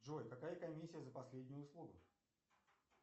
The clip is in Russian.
джой какая комиссия за последнюю услугу